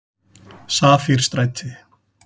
Safírstræti